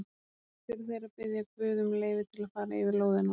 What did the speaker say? Kannski eru þeir að biðja guð um leyfi til að fara yfir lóðina hans.